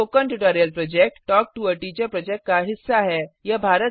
spoken tutorial project talk to a teacher project का हिस्सा है